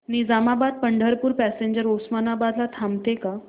Nizamabad Pandharpur passenger Osmanabad ला थांबते का